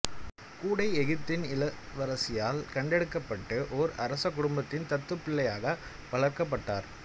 கூடை எகிப்தின் இளவரசியால் கண்டெடுக்கப்பட்டு ஓர் அரசக் குடும்பத்தின் தத்துப்பிள்ளையாக வளர்க்கப்பட்டார்